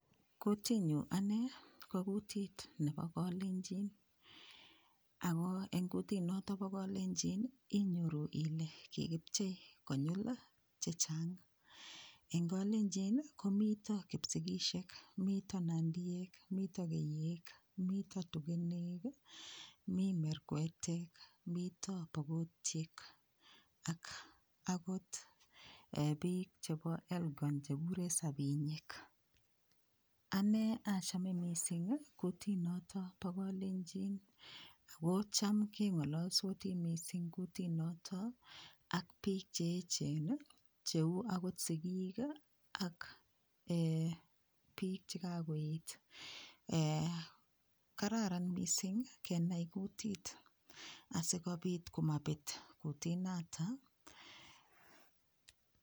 Kutiit nyu ane ko kutiit nebo kalenjin ako eng kutit noto po kalenjin inyoru ile kikipchei konyil chechang. Eng kalenjin komito Kipsigisiek, mito nandiek , mito keiyek, mito tugenek, mi merkwetek ,mito pokotiek akot piik chebo Elgon chekikuree sabinyek. Anee achame mising kutit noto po kolenjini Ako cham kengalalsoti mising kutit noto ak piik cheechen cheu akot sikiik ak piik chekakoet kararan mising kenai kutit asikopot komapet kutiit nata.